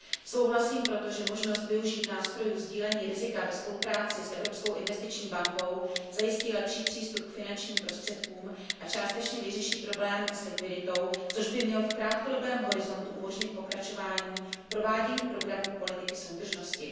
Souhlasím proto s tím, že možnost využít nástrojů sdílení rizika ve spolupráci s Evropskou investiční bankou zajistí lepší přístup k finančním prostředkům a částečně vyřeší problém s likviditou, což by mělo v krátkodobém horizontu umožnit pokračování provádění programů politiky soudržnosti.